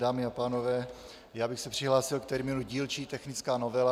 Dámy a pánové, já bych se přihlásil k termínu dílčí technická novela.